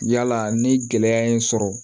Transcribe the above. Yala ni gɛlɛya ye n sɔrɔ